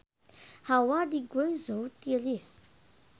Hawa di Guangzhou tiris